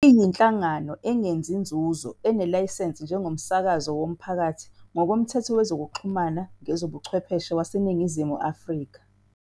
Iyinhlangano engenzi nzuzo enelayisensi njengomsakazi womphakathi ngokoMthetho Wezokuxhumana Ngezobuchwepheshe waseNingizimu Afrika.